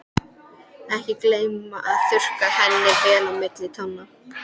Og ekki gleyma að þurrka henni vel á milli tánna.